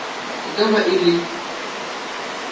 e ka ba e le